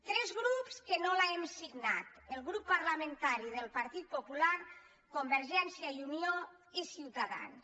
tres grups que no l’hem signat el grup parlamentari del partit popular convergència i unió i ciutadans